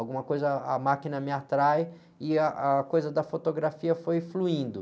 Alguma coisa, a máquina me atrai e ah, a coisa da fotografia foi fluindo.